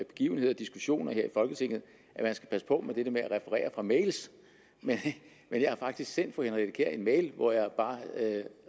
begivenheder og diskussioner her i folketinget at man skal passe på med det der med at referere fra mail men jeg har faktisk sendt fru henriette kjær en mail hvor jeg bare